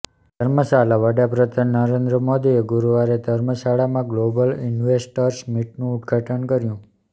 ધર્મશાલાઃ વડાપ્રધાન નરેન્દ્ર મોદીએ ગુરુવારે ધર્મશાળામાં ગ્લોબલ ઈન્વેસ્ટર્સ મીટનું ઉદ્ધાટન કર્યું